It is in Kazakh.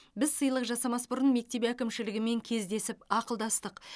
біз сыйлық жасамас бұрын мектеп әкімшілігімен кездесіп ақылдастық